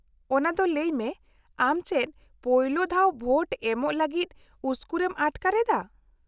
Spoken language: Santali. -ᱚᱱᱟ ᱫᱚ ᱞᱟᱹᱭ ᱢᱮ, ᱟᱢ ᱪᱮᱫ ᱯᱳᱭᱞᱳ ᱫᱷᱟᱣ ᱵᱷᱳᱴ ᱮᱢᱚᱜ ᱞᱟᱹᱜᱤᱫ ᱩᱥᱠᱩᱨᱮᱢ ᱟᱴᱠᱟᱨᱮᱫᱟ ?